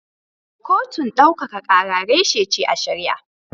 Kotun daukaka kara reshe ce a shari'a.